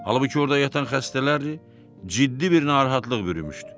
Halbuki orda yatan xəstələr ciddi bir narahatlıq bürümüşdü.